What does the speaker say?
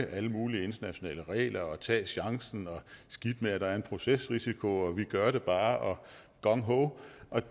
alle mulige internationale regler og tage chancen og skidt med at der er en procesrisiko og vi gør det bare og gung ho